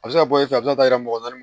A bɛ se bɔ ye fɛ a bɛ se ka yira mɔgɔ naani